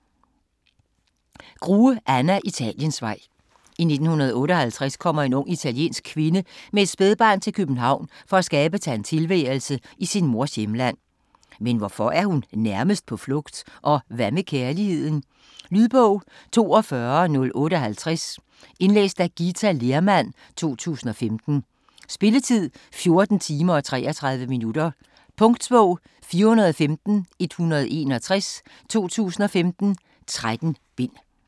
Grue, Anna: Italiensvej I 1958 kommer en ung italiensk kvinde med et spædbarn til København for at skabe sig en tilværelse i sin mors hjemland. Men hvorfor er hun nærmest på flugt? Og hvad med kærligheden? Lydbog 42058 Indlæst af Ghita Lehrmann, 2015. Spilletid: 14 timer, 33 minutter. Punktbog 415161 2015. 13 bind.